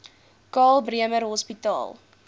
karl bremer hospitaal